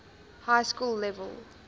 high school level